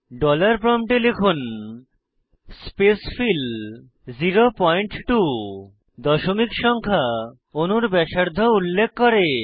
dollar প্রম্পটে লিখুন spacefill 02 দশমিক সংখ্যা অণুর ব্যাসার্ধ উল্লেখ করে